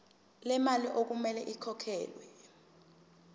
lemali okumele ikhokhelwe